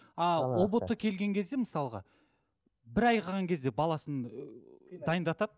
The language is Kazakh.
ы ұбт келген кезде мысалға бір ай қалған кезде баласын ыыы дайындатады